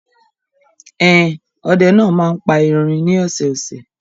Ẹn, ọdẹ náà máa ń pa erin ní ọ̀sẹ̀ẹ̀sẹ̀.